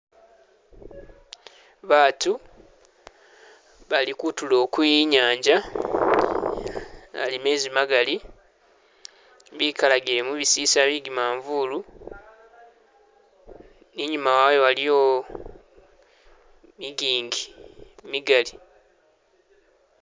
Batu balikutulo kwenyanza alimezi magali bikalagile mu bisisila byegimanvulu inyuma wayo waliyo migingi migali